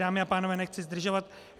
Dámy a pánové, nechci zdržovat.